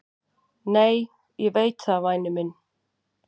"""Nei, ég veit það, væni minn."""